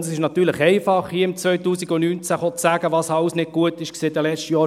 Und es ist natürlich einfach, im Jahr 2019 zu sagen, was in den letzten Jahren alles nicht gut war.